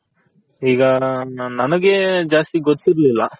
ಈಗ ನನಗೆ ಜಾಸ್ತಿ ಗೊತ್ತಿರ್ಲಿಲ್ಲ.